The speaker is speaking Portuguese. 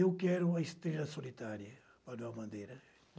Eu quero a Estrela Solitária, Valdeval Bandeira.